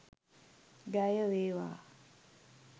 ජය වේවා!.